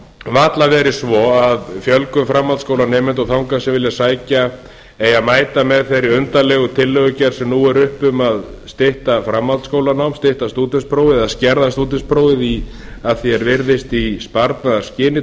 varla verið svo að fjölgun framhaldsskólanemenda og þangað sem vilja sækja eigi að mæta með þeirri undarlegu tillögugerð sem nú er uppi um að stytta framhaldsskólanám stytta stúdentspróf eða skerða stúdentsprófið að því er virðist í sparnaðarskyni